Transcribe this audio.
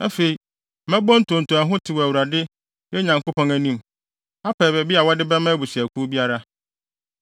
Afei, mɛbɔ ntonto a ɛho tew wɔ Awurade, yɛn Nyankopɔn anim, apɛ baabi a wɔde bɛma abusuakuw biara.